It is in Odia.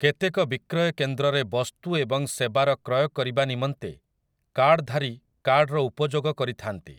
କେତେକ ବିକ୍ରୟକେନ୍ଦ୍ରରେ ବସ୍ତୁ ଏବଂ ସେବାର କ୍ରୟ କରିବା ନିମନ୍ତେ କାର୍ଡଧାରୀ କାର୍ଡର ଉପଯୋଗ କରିଥାନ୍ତି ।